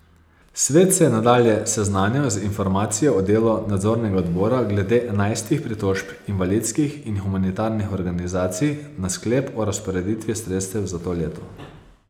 Svet se je nadalje seznanil z informacijo o delu nadzornega odbora glede enajstih pritožb invalidskih in humanitarnih organizacij na sklep o razporeditvi sredstev za to leto.